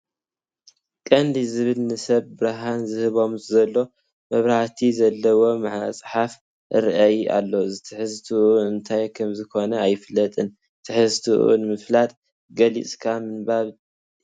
ቀንዲል ዝብል ንሰባት ብርሃን ዝህቦም ዘሎ መብራህቲ ዘለዎ መፅሓፍ ይርአ ኣሎ፡፡ ትሕዝቶኡ እንታይ ከምዝኾነ ኣይፍለጥን፡፡ ትሕዝቶኡ ንምፍላጥ ገሊፅካ ምንባብ የድሊ፡፡